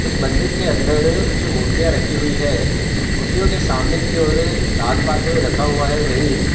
एक मंदिर के अंदर कुछ मूर्तिया रखी हुयी हैं | मूर्तिओ के सामने की ओर दानपात्र रखा हुआ है वही--